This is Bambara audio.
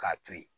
K'a to yen